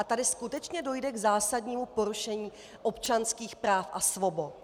A tady skutečně dojde k zásadnímu porušení občanských práv a svobod.